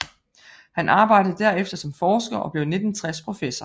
Han arbejdede derefter som forsker og blev i 1960 professor